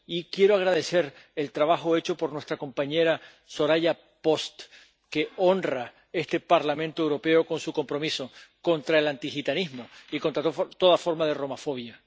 Y quiero agradecer el trabajo hecho por nuestra compañera Soraya Post, que honra este Parlamento Europeo con su compromiso contra el antigitanismo y contra toda forma de romafobia